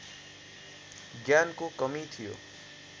ज्ञानको कमी थियो